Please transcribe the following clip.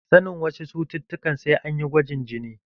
Sanin wasu cututtukan sai an yi gwajin jini.